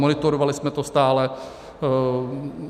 Monitorovali jsme to stále.